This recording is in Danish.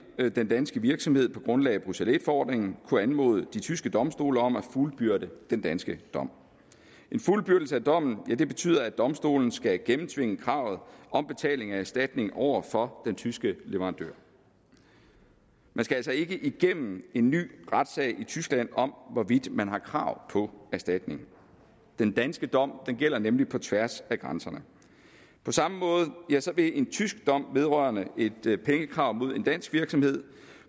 den danske virksomhed på grundlag af bruxelles i forordningen kunne anmode de tyske domstole om at fuldbyrde den danske dom en fuldbyrdelse af dommen betyder at domstolen skal gennemtvinge kravet om betaling af erstatning over for den tyske leverandør man skal altså ikke igennem en ny retssag i tyskland om hvorvidt man har krav på erstatning den danske dom gælder nemlig på tværs af grænserne på samme måde vil en tysk dom vedrørende et pengekrav mod en dansk virksomhed